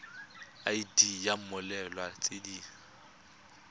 id ya mmoelwa tse di